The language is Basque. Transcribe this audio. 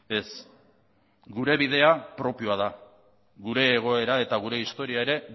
ez gure bidea propioa da gure egoera eta gure historia ere